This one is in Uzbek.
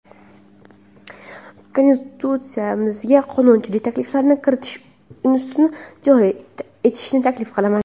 Konstitutsiyamizga qonunchilik takliflarini kiritish institutini joriy etishni taklif qilaman.